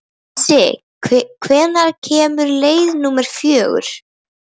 Unnsi, hvenær kemur leið númer fjögur?